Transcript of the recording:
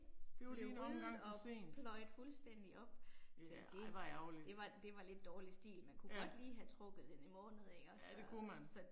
Det var lige en omgang for sent. Ja ej hvor ærgerligt. Ja. Ja det kunne man